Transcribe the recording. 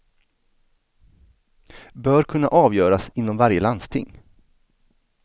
Bör kunna avgöras inom varje landsting.